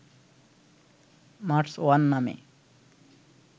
Mars one নামে